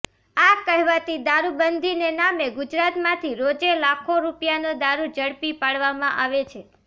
આ કહેવાતી દારૂ બંધીને નામે ગુજરાતમાંથી રોજે લાખો રૂપિયાનો દારૂ ઝડપી પાડવામાં આવે છે